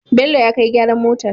Bello ya kai gyaran motar